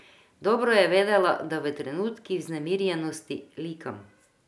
Dobro je vedela, da v trenutkih vznemirjenosti likam.